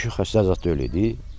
Kişi xəstə zad deyil idi.